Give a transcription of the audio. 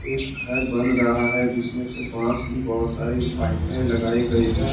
घर बन रहा है जिसमें से बास की बहुत सारी पाइपे लगाई गई हैं।